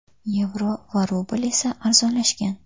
Yevro va rubl esa arzonlashgan.